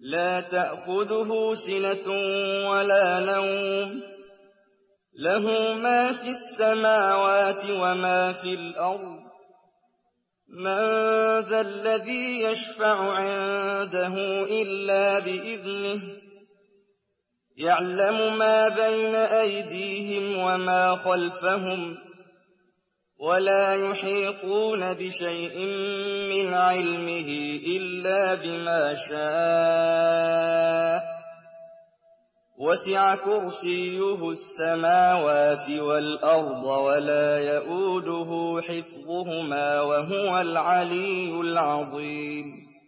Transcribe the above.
لَا تَأْخُذُهُ سِنَةٌ وَلَا نَوْمٌ ۚ لَّهُ مَا فِي السَّمَاوَاتِ وَمَا فِي الْأَرْضِ ۗ مَن ذَا الَّذِي يَشْفَعُ عِندَهُ إِلَّا بِإِذْنِهِ ۚ يَعْلَمُ مَا بَيْنَ أَيْدِيهِمْ وَمَا خَلْفَهُمْ ۖ وَلَا يُحِيطُونَ بِشَيْءٍ مِّنْ عِلْمِهِ إِلَّا بِمَا شَاءَ ۚ وَسِعَ كُرْسِيُّهُ السَّمَاوَاتِ وَالْأَرْضَ ۖ وَلَا يَئُودُهُ حِفْظُهُمَا ۚ وَهُوَ الْعَلِيُّ الْعَظِيمُ